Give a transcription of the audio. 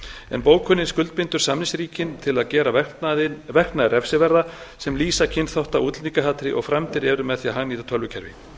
en bókunin skuldbindur samningsríkin til að gera verknaði refsiverða sem lýsa kynþátta og útlendingahatri og framdir eru með því að hagnýta tölvukerfi